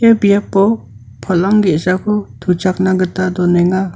ia biapo palang ge·sako tuchakna gita donenga.